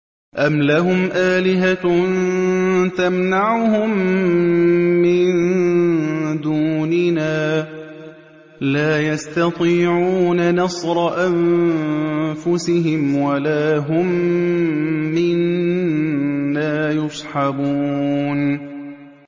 أَمْ لَهُمْ آلِهَةٌ تَمْنَعُهُم مِّن دُونِنَا ۚ لَا يَسْتَطِيعُونَ نَصْرَ أَنفُسِهِمْ وَلَا هُم مِّنَّا يُصْحَبُونَ